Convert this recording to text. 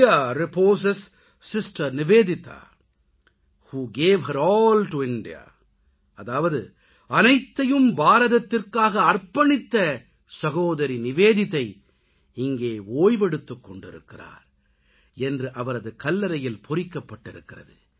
here reposes sister Nivedita who gave her all to India அதாவது அனைத்தையும் பாரதத்திற்காக அர்ப்பணித்த சகோதரி நிவேதிதா இங்கே ஓய்வெடுத்துக்கொண்டிருக்கிறார் என்று அவரது கல்லறையில் பொறிக்கப்பட்டிருக்கிறது